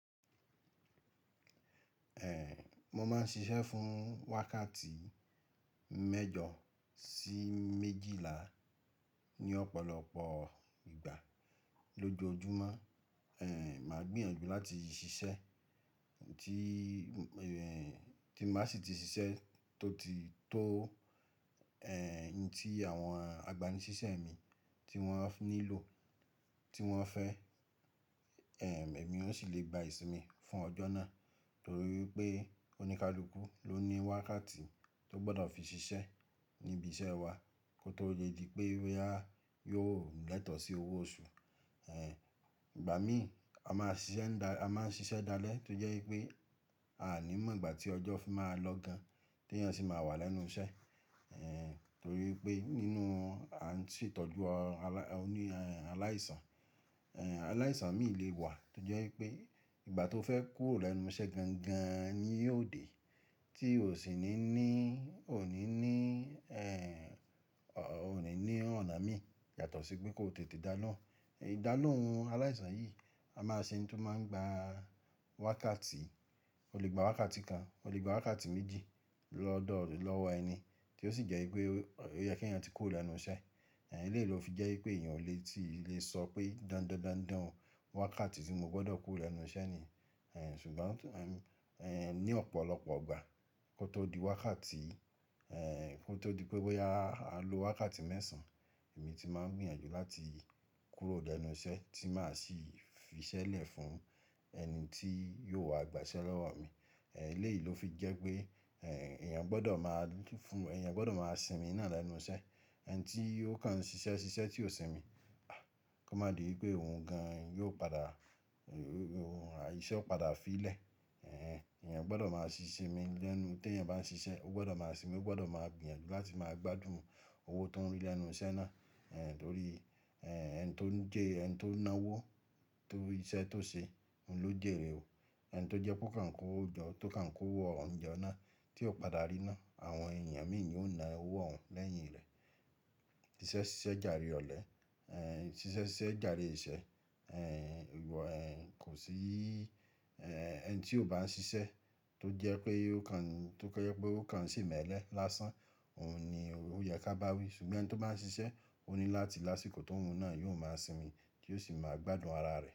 Ẹ̀, mo máa ń ṣiṣẹ́ fún wákàtí mẹ́jọ sí méjìlá ní ọ̀pọ̀lọpọ̀ ìgbà lójoojúmọ́. Ẹ̀, màá gbìyànjú láti ṣiṣẹ́ tí, ẹ́, tí n bá sì ti ṣiṣẹ́ tó ti tó, ẹ́, in tí àwọn agbánisísẹ́ mi tí wọ́n nílò, tí wọ́n fẹ́, ẹ̀m, èmi ó sì lè gba ìsinmi fún ọjọ́ náà. Torí wipé oníkálukú ló ní wákàtí tó gbọ́dọ̀ fi ṣiṣẹ́ ní ibi iṣẹ́ wa kó tó le di pé boyá yóò lẹ́tọ̀ sí owó oṣù. Ẹ̀, ìgbà mìí, a máa ṣiṣẹ́ ń dá, a máa ń ṣiṣẹ́ dalẹ́ tó jẹ́ wípé a à ní mọ̀ ìgbà tí ọjọ́ fi máa lọ gan tí èèyàn sì máa wà lẹ́nu iṣẹ́. Ẹ̀, torí wipé nínú a ń ṣe ìtọ́jú alá, òní, aláìsàn. Ẹ̀, aláìsàn mii lè wà tó jẹ́ wípé ìgbà tó fẹ́ kúrò lẹ́nu iṣẹ́ gan gan ni yóò dé tí ò sì ní ní, ò ní ní, ẹ́, ò ní ní ọ̀nà mii yàtọ̀ sí pé kó tètè da lóun. Ìdá lòun aláìsàn yìí a máa ṣe n tó máa ń gba wákàtí, o lè gba wákàtí kan, o lè gba wákàtí méjì lọ́dọ̀ lọ́wọ́ ẹni tí ó sì jẹ́ wípé ó yẹ kí èeyàn tí kúrò lẹ́nu iṣẹ́, eléyi lófi jẹ́wípé èèyàn ò lè ti sọ wípé dan dan wákàtí tí mo gbọ́dọ̀ kúrò lẹ́nu iṣẹ́ ni. Ẹ̀, ṣùgbọ́n ní ọ̀pọ̀lọpọ̀ ìgbà kó tó di wákàtí kótó di pé bóyá a lo wákàtí mẹ́sàn, èmi ti máa ń gbìyànjú láti kúrò lẹ́nu iṣẹ́ tí màá sì fi iṣẹ́ lé fún ẹnití yóò wáá gba iṣẹ́ lọ́wọ́ mi eléyi ló fi jẹ́ pé èèyàn gbọ́dọ̀ máa fún, èèyàn gbọ́dọ̀ máa sinmi náà lẹ́nu iṣẹ́. Ẹn tí ó kàn ń ṣiṣẹ́ ṣiṣẹ́ tí ò sinmi, a! Kó má di wípé òhun gan yóò padà, iṣẹ́ ó padà fi í lẹ̀. Ẹ̀, èèyàn gbọ́dọ̀ máa ṣi ṣinmi lẹ́nu, tí èèyàn bá ń ṣiṣẹ́, ó gbọ́dọ̀ máa sinmi, ó gbọ́dọ̀ máa gbìyànjú láti máa gbádùn owó tó ń rí lẹ́nu iṣẹ́ náà. Ẹ̀, torí, ẹ̀, ẹni tó ń jẹ́, ẹni tó ń ná owó tó iṣẹ́ tó ṣe òhun ló jèrè o. Ẹni tó jẹ́ pe ó kàn kó owò jọ́, tó kàn kó owó ọ̀hun jọ́ náà tí ó padà ríná, àwọn èèyàn mìí niò na owó òhun lẹ́yìn rẹ̀. Ṣíṣẹ́ ṣiṣẹ́ jàre ọ̀lẹ́, ẹ̀, ṣíṣẹ́ ṣiṣẹ́ jàre ìṣẹ́, ẹ̀n, ìwọ, ẹ̀n, kò sí, ẹ́, ẹni tí ò bá ń ṣiṣẹ́ tó jẹ́ pé ó kàn, tó jẹ́ pé ó kàn ṣe imẹ́lẹ̀ lásán, òhun ni ó yẹ ká bá wí. Ṣùgbọ́n ẹni tó bá ń ṣiṣẹ́, ó ní láti lásìkò tóhun náà yóò máa sinmi tí ó sì máa gbádùn ara rẹ̀.